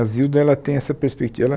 A Zilda ela tem essa perspectiva, ela